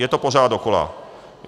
Je to pořád dokola.